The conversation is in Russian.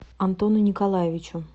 антону николаевичу